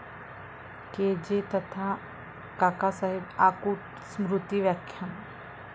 के.जे. तथा काकासाहेब आकूट स्मृती व्याख्यान